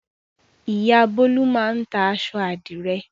Ìyá Bólú máa ń ta aṣọ àdìrẹ́.